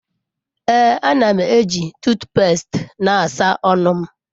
Ee, a na m eji tuut pest na-asa ọnụ m.